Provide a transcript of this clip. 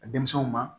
A denmisɛnw ma